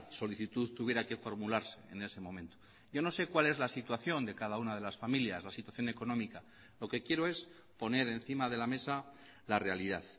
solicitud tuviera que formularse en ese momento yo no sé cuál es la situación de cada una de las familias la situación económica lo que quiero es poner encima de la mesa la realidad